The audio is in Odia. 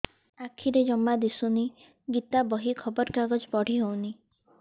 ଆଖିରେ ଜମା ଦୁଶୁନି ଗୀତା ବହି ଖବର କାଗଜ ପଢି ହଉନି